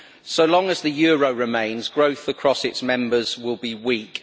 So long as the euro remains, growth across its members will be weak.